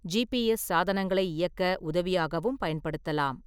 GPS சாதனங்களை இயக்க உதவியாகவும் பயன்படுத்தலாம்.